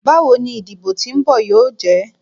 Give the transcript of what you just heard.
Bawo ni idibo ti nbọ yoo jẹ?